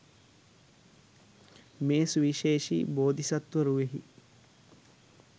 මෙම සුවිශේෂී බෝධිසත්ව රුවෙහි